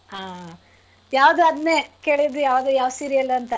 ಹಾ ಯಾವ್ದು ಅದ್ನೇ ಕೇಳಿದ್ದು ಯಾವ್ದು ಯಾವ್ serial ಅಂತ?